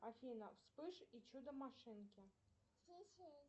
афина вспыш и чудо машинки